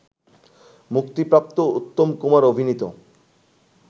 মুক্তিপ্রাপ্ত উত্তম কুমার অভিনীত